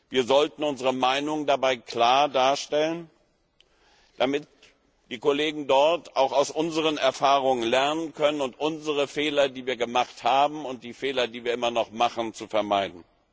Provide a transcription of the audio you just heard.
Wir sollten unsere Meinung dabei klar darstellen, damit die Kollegen dort auch aus unseren Erfahrungen lernen können, und um unsere Fehler, die wir gemacht haben und die wir immer noch machen, zu vermeiden.